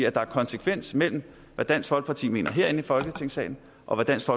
at der er konsekvens mellem hvad dansk folkeparti mener herinde i folketingssalen og hvad dansk